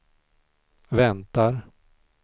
väntar